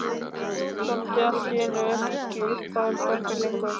Þoldi allt í einu ekki uppáhald okkar lengur.